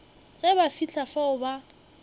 ge ba fihla fao ba